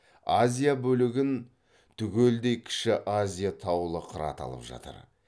азия бөлігін түгелдей кіші азия таулы қыраты алып жатыр